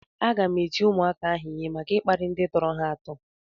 Aga m eti ụmụaka ahụ ịhe maka ịkparị ndị tọrọ ha atọ